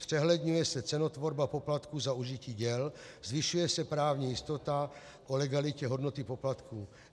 Zpřehledňuje se cenotvorba poplatků za užití děl, zvyšuje se právní jistota o legalitě hodnoty poplatků.